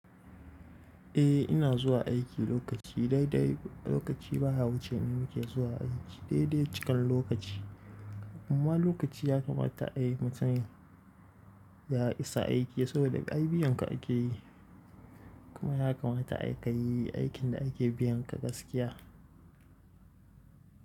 Eh ina zuwa aiki lokaci. Daidai lokaci baya wuce ni nake zuwa aiki. Daidai cikin lokaci. Amma lokaci ya kamata ai mutum ya isa aiki saboda ai biyan ka ake yi. Kuma ya kamata ai kayi aikin da ake biyan ka gaskiya.